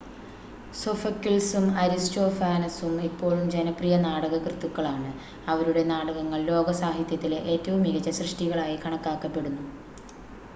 സോഫക്കിൾസും അരിസ്റ്റോഫാനസും ഇപ്പോഴും ജനപ്രിയ നാടകകൃത്തുക്കളാണ് അവരുടെ നാടകങ്ങൾ ലോക സാഹിത്യത്തിലെ ഏറ്റവും മികച്ച സൃഷ്ടികളായി കണക്കാക്കപ്പെടുന്നു